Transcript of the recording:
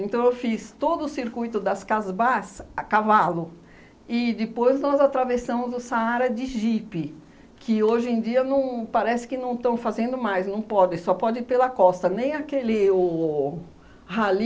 eu fiz todo o circuito das Casbás a cavalo e depois nós atravessamos o Saara de jipe, que hoje em dia não parece que não estão fazendo mais, não pode, só pode ir pela costa, nem aquele o rally